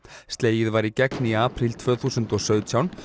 slegið var í gegn í apríl tvö þúsund og sautján